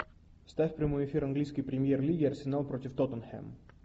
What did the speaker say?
ставь прямой эфир английской премьер лиги арсенал против тоттенхэм